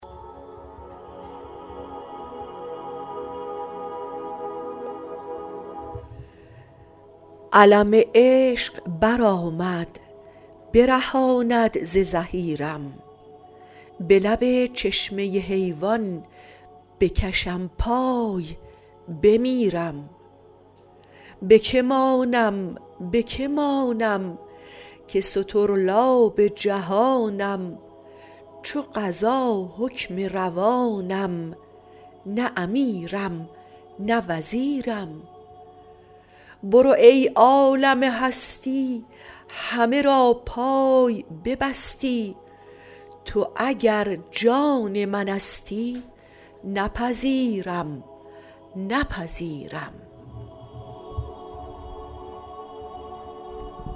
علم عشق برآمد برهانم ز زحیرم به لب چشمه حیوان بکشم پای بمیرم به که مانم به که مانم که سطرلاب جهانم چو قضا حکم روانم نه امیرم نه وزیرم بروی ای عالم هستی همه را پای ببستی تو اگر جان منستی نپذیرم نپذیرم